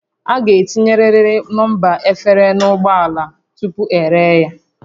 A ga-etinyerịrị nọmba efere n'ụgbọ ala tupu eree ya